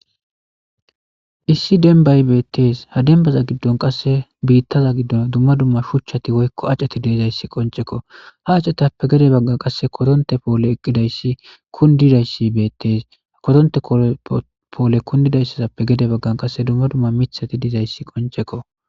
Issi dembay betes ha dembaza gidon duma duma shuchati woyko ac'c'eti de'izaysi qonc'eko ha ac'etappe gede bagan qase koronte pole eqidaysi kundidaysi betes koronte pole kundidaysazappe gede bagan qase duma duma mithati dizaysi qonc'eko.